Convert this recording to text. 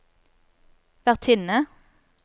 vertinne